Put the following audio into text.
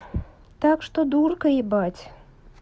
так что дурка ебать